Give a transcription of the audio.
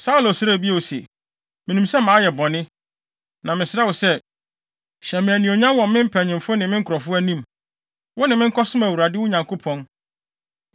Saulo srɛɛ bio se, “Minim sɛ mayɛ bɔne. Na mesrɛ wo sɛ, hyɛ me anuonyam wɔ me mpanyimfo ne me nkurɔfo anim; wo ne me nkɔsom Awurade, wo Nyankopɔn.”